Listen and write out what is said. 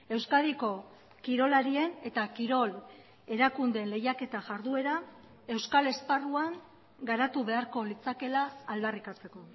euskadiko kirolarien eta kirol erakundeen lehiaketa jarduera euskal esparruan garatu beharko litzakeela aldarrikatzeko